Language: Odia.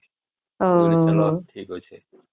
ଓ ହୋ